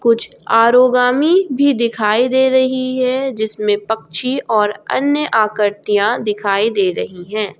कुछ आरोगामी भी दिखाई दे रही है जिसमें पक्षी और अन्य आकृतियां दिखाई दे रही है।